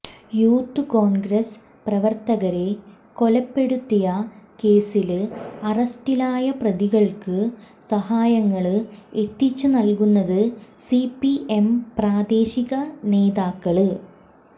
youth Congress പ്രവര്ത്തകരെ കൊലപ്പെടുത്തിയ കേസില് അറസ്റ്റിലായ പ്രതികള്ക്ക് സഹായങ്ങള് എത്തിച്ചു നല്കുന്നത് സിപിഎം പ്രാദേശിക നേതാക്കള്